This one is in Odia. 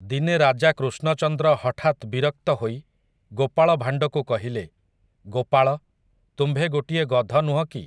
ଦିନେ ରାଜା କୃଷ୍ଣଚନ୍ଦ୍ର ହଠାତ୍ ବିରକ୍ତ ହୋଇ ଗୋପାଳ ଭାଣ୍ଡକୁ କହିଲେ, ଗୋପାଳ, ତୁମ୍ଭେ ଗୋଟିଏ ଗଧ ନୁହଁ କି।